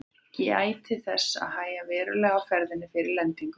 Gætið þess að hægja verulega á ferðinni fyrir lendingu.